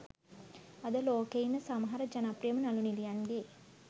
අද ලෝකේ ඉන්න සමහර ජනප්‍රියම නළු නිළියන්ගේ